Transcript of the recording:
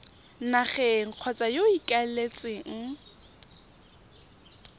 nageng kgotsa yo o ikaeletseng